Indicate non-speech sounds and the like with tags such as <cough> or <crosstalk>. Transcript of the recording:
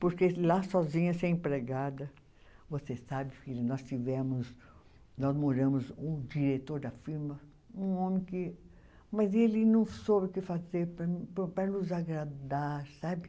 Porque lá sozinha, sem empregada. Você sabe, filha, nós tivemos, nós moramos. O diretor da firma, um homem que, mas ele não soube o que fazer para mim <unintelligible> para nos agradar, sabe?